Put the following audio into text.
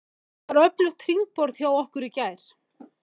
Það var öflugt hringborð hjá okkur í gær.